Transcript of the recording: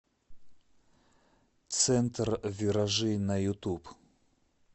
центр виражи на ютуб